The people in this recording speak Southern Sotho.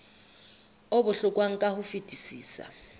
o bohlokwa ka ho fetisisa